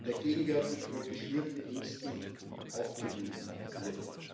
der gegenwärtig von geschürten Ängsten aufgewühlt